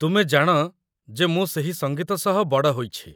ତୁମେ ଜାଣ ଯେ ମୁଁ ସେହି ସଙ୍ଗୀତ ସହ ବଡ଼ ହୋଇଛି।